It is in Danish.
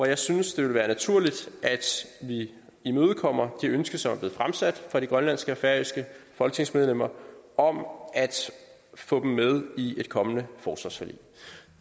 jeg synes det ville være naturligt at vi imødekommer de ønsker der er blevet fremsat fra de grønlandske og færøske folketingsmedlemmer om at få dem med i et kommende forsvarsforlig